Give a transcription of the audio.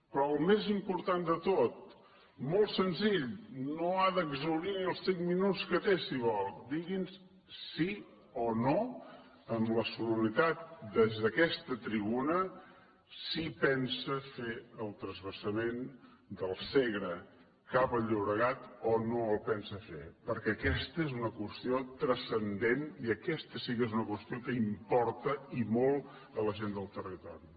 però el més important de tot molt senzill no ha d’exhaurir ni els cinc minuts que té si vol digui’ns sí o no amb la solemnitat des d’aquesta tribuna si pensa fer el transvasament del segre cap al llobregat o no el pensa fer perquè aquesta és una qüestió transcendent i aquesta sí que és una qüestió que importa i molt a la gent del territori